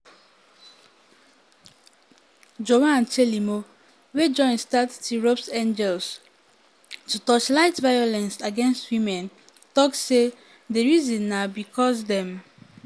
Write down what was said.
joan chelimo wey join start tirop's angels angels to torchlight violence against women tok say di reason na "bicos dem